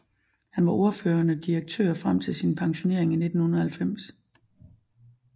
Han var ordførende direktør frem til sin pensionering i 1990